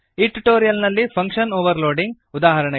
ಈ ಟ್ಯುಟೋರಿಯಲ್ ನಲ್ಲಿ function overloading ಉದಾ